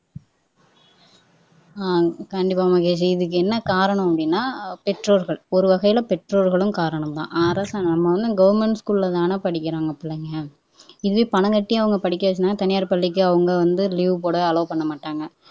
அஹ் கண்டிப்பா மகேஷ் இதுக்கு என்ன காரணம் அப்படின்னா பெற்றோர்கள் ஒரு வகையில பெற்றோர்களும் காரணம்தான் அரசு நம்ம வந்து கவர்ன்மெண்ட் ஸ்கூல்லதான படிக்கிறாங்க பிள்ளைங்க இதே பணம் கட்டி அவங்க படிக்க வச்சிருந்தாங்கன்னா தனியார் பள்ளிக்கு அவங்க வந்து லீவ் போட அலோ பண்ணமாட்டாங்க